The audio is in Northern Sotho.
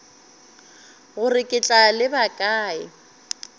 gore ke tla leba kae